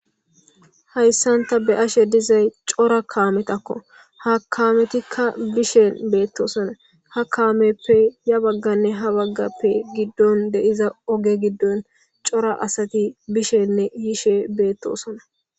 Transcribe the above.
Hayssan ta be'ashe dizay cora kaametakko ha kaametikka bishen beettosona ha kaameppe ya bagganne ha baggappe giddon deiza oge giddon cora asati bishenne yishe beettosona.